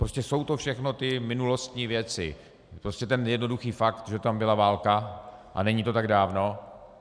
Prostě jsou to všechno ty minulostní věci, prostě ten jednoduchý fakt, že tam byla válka a není to tak dávno.